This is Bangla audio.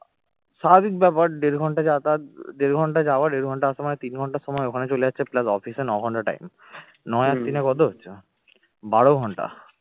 স্বাভাবিক ব্যাপার দেড় ঘন্টা যাতা যাত দেড় ঘন্টা যাওয়া দেড় ঘন্টা আসা মানে তিন ঘন্টা সময় ওখানে চলে যাচ্ছে plus office এ নয় ঘণ্টা time নয় আর তিনে কত হচ্ছে? বারো ঘন্টা